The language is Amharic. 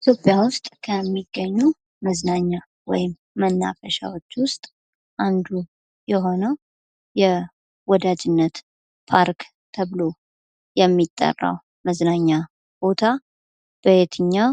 ኢትዮጵያ ውስጥ ከሚገኙ መዝናኛ ወይም መናፈሻዎች ዉስጥ አንዱ የሆነው የወዳጅነት ፓርክ ተብሎ የሚጠራው መዝናኛ ቦታ በየትኛው